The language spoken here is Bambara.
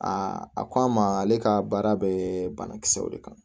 a ko a ma ale ka baara bɛ banakisɛw de kan